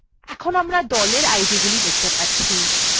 এখন আমরা group idগুলি দেখতে পাচ্ছি